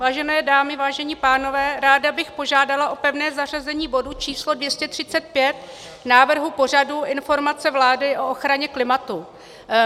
Vážené dámy, vážení pánové, ráda bych požádala o pevné zařazení bodu číslo 235 návrhu pořadu - Informace vlády o ochraně klimatu.